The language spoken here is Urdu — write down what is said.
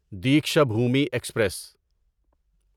دیکشابھومی ایکسپریس